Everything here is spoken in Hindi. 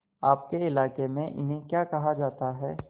आपके इलाके में इन्हें क्या कहा जाता है